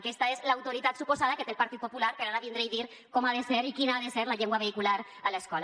aquesta és l’autoritat suposada que té el partit popular per a ara vindre i dir com ha de ser i quina ha de ser la llengua vehicular a l’escola